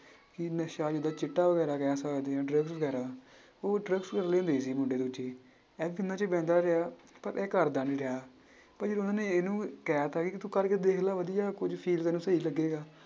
ਕਿ ਨਸ਼ਾ ਜਿੱਦਾਂ ਚਿੱਟਾ ਵਗ਼ੈਰਾ ਕਹਿ ਸਕਦੇ ਹਾਂ drug ਵਗ਼ੈਰਾ ਉਹ drugs ਬਹਿੰਦਾ ਰਿਹਾ ਪਰ ਇਹ ਕਰਦਾ ਨੀ ਰਿਹਾ ਪਰ ਜਦੋਂ ਉਹਨਾਂ ਨੇ ਇਹਨੂੰ ਕਹਿ ਦਿੱਤਾ ਕਿ ਤੂੰ ਕਰਕੇ ਦੇਖ ਲੈ ਵਧੀਆ ਕੁੱਝ feel ਤੈਨੂੰ ਸਹੀ ਲੱਗੇਗਾ।